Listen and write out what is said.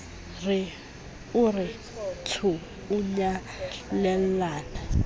o re tsho o nyalellana